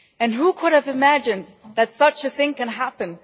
Who could have imagined that such a thing could happen?